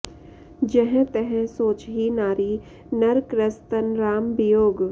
जहँ तहँ सोचहिं नारि नर कृस तन राम बियोग